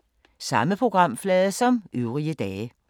Samme programflade som øvrige dage